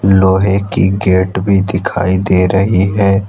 लोहे की गेट भी दिखाई दे रही है।